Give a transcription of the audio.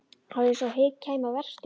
Það var eins og hik kæmi á verkstjórann.